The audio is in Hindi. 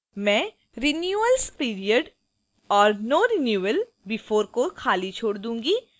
मैं renewal periodv और no renewal before: को खाली छोड़ दूंगी